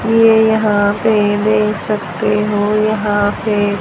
ये यहां पे देख सकते हो यहां पे--